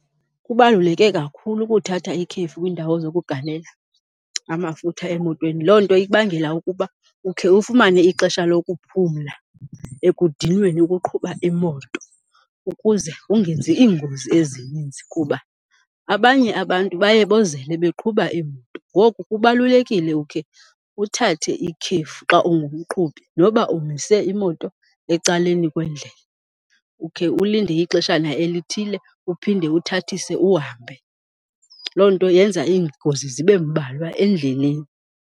Kubaluleke kakhulu ukuthatha ikhefu kwiindawo zokugalela amafutha emotweni. Loo nto ikubangela ukuba ukhe ufumane ixesha lokuphumla ekudinweni ukuqhuba imoto ukuze ungenzi iingozi ezininzi kuba abanye abantu baye bozele beqhuba iimoto. Ngoku kubalulekile ukhe uthathe ikhefu xa ungumqhubi noba umise imoto ecaleni kwendlela ukhe ulinde ixeshana elithile uphinde uthathise uhambe. Loo nto yenza iingozi zibe mbalwa endleleni.